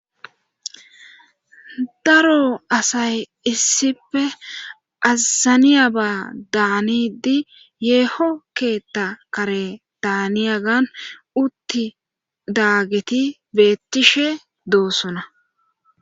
daro asay issife azaniyaba daanidi yeeho keetta kare daaniyagan utti daageti beettishe doosona